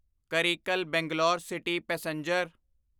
Karaikal Bangalore city passenger